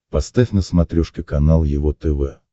поставь на смотрешке канал его тв